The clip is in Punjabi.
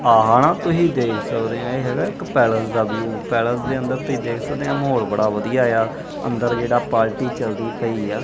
ਆਹ ਨਾ ਤੁਸੀਂ ਦੇਖ ਸਕਦੇ ਹੈ ਇਕ ਪੈਲਸ ਦਾ ਵਿਊ ਪੈਲਸ ਦੇ ਅੰਦਰ ਤੁਸੀਂ ਦੇਖ ਸਕਦੇ ਹੋ ਮਾਹੌਲ ਬੜਾ ਵਧੀਆ ਆ ਅੰਦਰ ਜਿਹੜਾ ਪਾਰਟੀ ਚਲਦੀ ਪਈ ਆ।